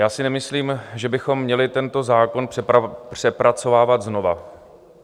Já si nemyslím, že bychom měli tento zákon přepracovávat znova.